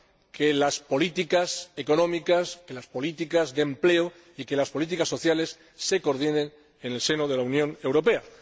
que las políticas económicas, que las políticas de empleo y que las políticas sociales se coordinen en el seno de la Unión Europea.